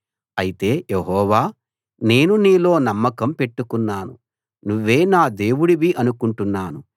అయితే యెహోవా నేను నీలో నమ్మకం పెట్టుకున్నాను నువ్వే నా దేవుడివి అనుకుంటున్నాను